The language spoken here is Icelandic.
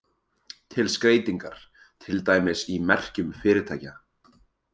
Til skreytingar, til dæmis í merkjum fyrirtækja.